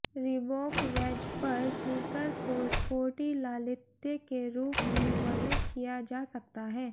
Reebok wedge पर sneakers को sporty लालित्य के रूप में वर्णित किया जा सकता है